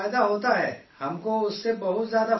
ہم کو اس سے بہت بڑا فائدہ ہے